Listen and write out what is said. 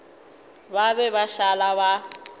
ba be ba šala ba